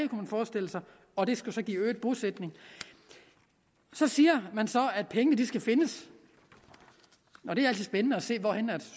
man forestille sig og det skulle så give øget bosætning så siger man så at pengene skal findes og det er altid spændende at se hvor